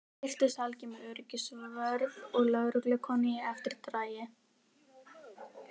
Svo birtist Helgi með öryggisvörð og lögreglukonu í eftirdragi.